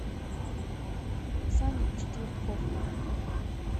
саня четвертков